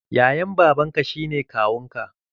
Yayan babanka shi ne kawunka.